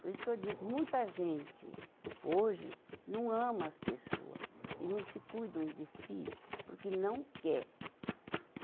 Por isso que eu digo, muita gente hoje não ama as pessoa e não se cuidam de si porque não quer.